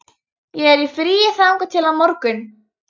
Ég er í fríi þangað til á morgun.